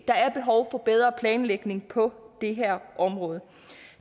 der er behov for bedre planlægning på det her område